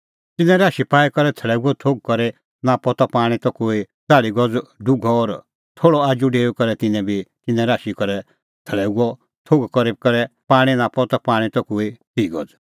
तिन्नैं राशी पाई करै थाल्लैओ थोघ करी नापअ ता पाणीं त कोई च़ाल़्ही गज़ डुघअ और थोल़अ आजू डेऊई करै तिन्नैं भी तिन्नैं राशी करै थाल्लैओ थोघ करी करै पाणीं नापअ ता पाणीं त कोई तिह गज़